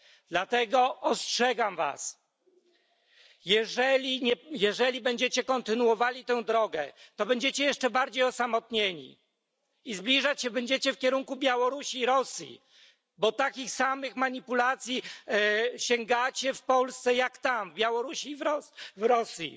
Dlatego ostrzegam was, jeżeli będziecie kontynuowali tę drogę, to będziecie jeszcze bardziej osamotnieni i zbliżać się będziecie w kierunku Białorusi i Rosji, bo do takich samych manipulacji sięgacie w Polsce, jak tam w Białorusi i w Rosji.